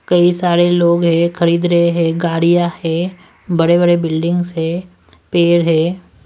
कई सारे लोग हैं खरीद रहे हैं गाड़ियां हैं बड़े-बड़े बिल्डिंग्स हैं पैड है।